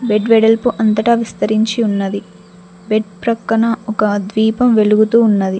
Bed వెడల్పు అంతటా విస్తరించి ఉన్నది బెడ్ ప్రక్కన ఒక ద్వీపం వెలుగుతూ ఉన్నది.